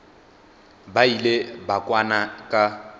ba ile ba kwana ka